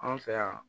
Anw fɛ yan